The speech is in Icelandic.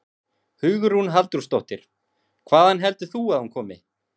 Hugrún Halldórsdóttir: Hvaðan heldur þú að hún komi?